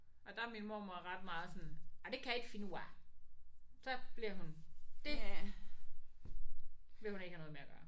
Og der er min mormor ret meget sådan nej det kan jeg ikke finde ud af. Så bliver hun det vil hun ikke have noget med at gøre